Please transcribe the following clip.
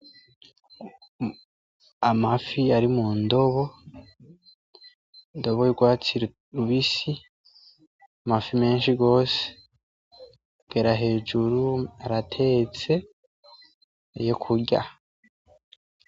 Amafi ari mundobo , indobo y’urwatsi rubisi amafi menshi gose , kugera hejuru aratetse yo kurya .